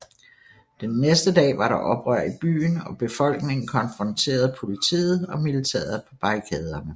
Den næste dag var der oprør i byen og befolkningen konfronterede politiet og militæret på barrikaderne